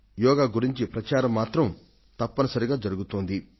యోగా ను గురించిన ప్రచారం మాత్రం తప్పనిసరిగా జరుగుతోంది